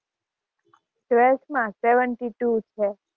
twelfth માં seventy two છે.